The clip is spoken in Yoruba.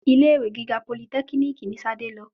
Ilé-ìwe gíga politẹ́kínìkì ní Ṣadé lọ.